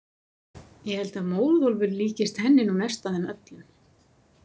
Ég held að Móðólfur líkist henni nú mest af þeim öllum.